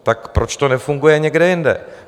Tak proč to nefunguje někde jinde?